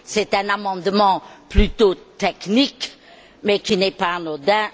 C'est un amendement plutôt technique mais qui n'est pas anodin.